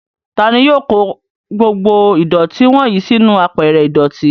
Tani yóò kó gbogbo ìdọ̀tí wọ́nyìí sínú àpẹrẹ ìdọ̀tí?